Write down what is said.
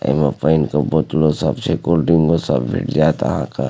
एमें पानी के बोतलों सब छे कोल्डड्रिंको सब का।